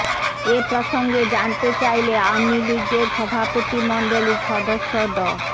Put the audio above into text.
এ প্রসঙ্গে জানতে চাইলে আওয়ামী লীগের সভাপতিমণ্ডলীর সদস্য ড